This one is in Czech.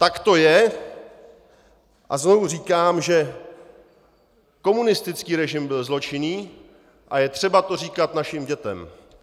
Tak to je a znovu říkám, že komunistický režim byl zločinný a je třeba to říkat našim dětem.